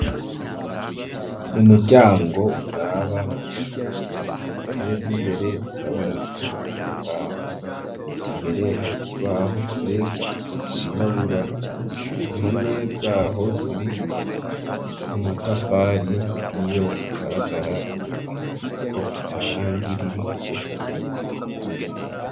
Mu muryango uraba mw'ishure intebe z'imbere ziraboneka nimbaho mbere hari kubaho kireki cirabura intome zaho ziri amatafari n'iyo agaragara inyuma kuko atarangi ririko.